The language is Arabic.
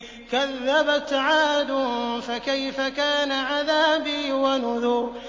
كَذَّبَتْ عَادٌ فَكَيْفَ كَانَ عَذَابِي وَنُذُرِ